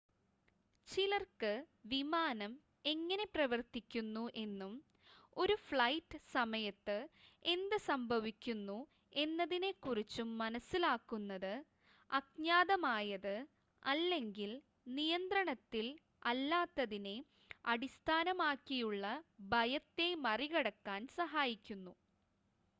ചിലർക്ക് വിമാനം എങ്ങനെ പ്രവർത്തിക്കുന്നു എന്നും ഒരു ഫ്ലൈറ്റ് സമയത്ത് എന്ത് സംഭവിക്കുന്നു എന്നതിനെ കുറിച്ചും മനസ്സിലാക്കുന്നത് അജ്ഞാതമായത് അല്ലെങ്കിൽ നിയന്ത്രണത്തിൽ അല്ലാത്തതിനെ അടിസ്ഥാനമാക്കിയുള്ള ഭയത്തെ മറികടക്കാൻ സഹായിക്കുന്നു